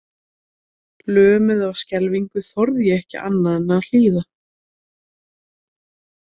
Lömuð af skelfingu þorði ég ekki annað en að hlýða.